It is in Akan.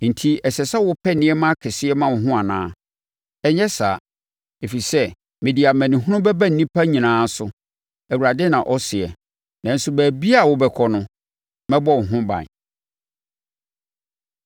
Enti ɛsɛ sɛ wopɛ nneɛma akɛseɛ ma wo ho anaa? Ɛnyɛ saa. Ɛfiri sɛ mede amanehunu bɛba nnipa nyinaa so, Awurade na ɔseɛ, nanso baabiara a wobɛkɔ no, mɛbɔ wo ho ban.’ ”